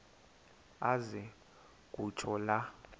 aze kutsho la